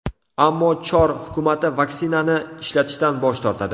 Ammo Chor hukumati vaksinani ishlatishdan bosh tortadi.